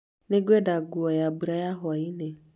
Nĩ ngwenda nguo ya mbura ya hwaĩ-inĩ